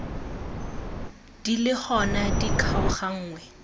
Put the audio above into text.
di le gona di kgaoganngwe